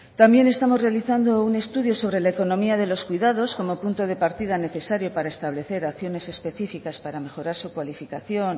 también estamos realizando un estudio sobre la economía de los cuidados como punto de partida necesario para establecer acciones específicas para mejorar su cualificación